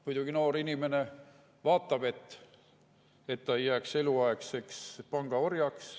Muidugi, noor inimene vaatab, et ta ei jääks eluks ajaks panga orjaks.